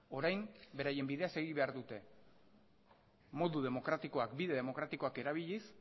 orain beraien bidea segi behar dute modu demokratikoak bide demokratikoak erabiliz